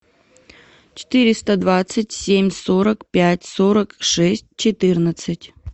четыреста двадцать семь сорок пять сорок шесть четырнадцать